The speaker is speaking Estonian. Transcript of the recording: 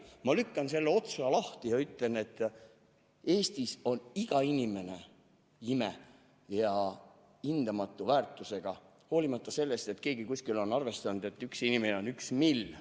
Ma teen otsa lahti ja ütlen, et Eestis on iga inimene ime ja hindamatu väärtusega hoolimata sellest, et keegi kuskil on välja arvestanud, et ühe inimese väärtus on üks mill.